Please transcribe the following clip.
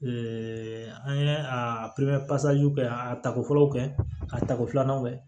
an ye a kɛ ka a tako fɔlɔ kɛ a tako filanan kɛ